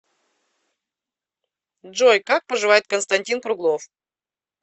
джой как поживает константин круглов